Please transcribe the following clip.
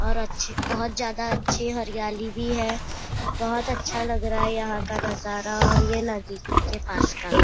और अच्छे बहुत ज्यादा अच्छे हरियाली भी है बहुत ज्यादा अच्छे हरियाली भी है बहुत अच्छा लग रहा है यहां का नजारा और ये नदी के पास का --